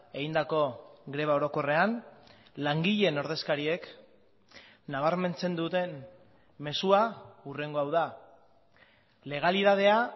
egindako greba orokorrean langileen ordezkariek nabarmentzen duten mezua hurrengo hau da legalitatea